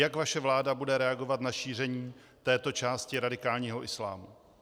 Jak vaše vláda bude reagovat na šíření této části radikálního islámu?